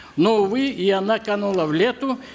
но увы и она канула в лету